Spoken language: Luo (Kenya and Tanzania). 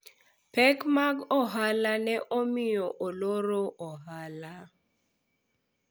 pek mag ohala ne omiyo aloro ohala